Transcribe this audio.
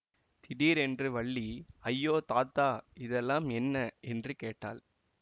திடிரென்று வள்ளி ஐயோ தாத்தா இதெல்லாம் என்ன என்று கேட்டாள்